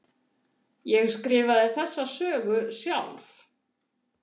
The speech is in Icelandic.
Ég skrifaði þessa sögu sjálf.